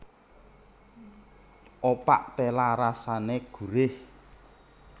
Opak téla rasané gurih